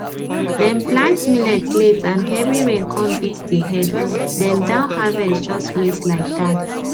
dem plant millet late and heavy rain come beat the head dem downharvest just waste like that